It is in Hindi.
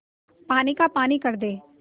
पानी का पानी कर दे